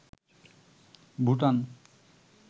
Bhutan